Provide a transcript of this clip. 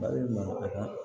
Mali ma